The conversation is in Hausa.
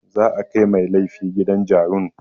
Za a kai mai laifi gidan jarun.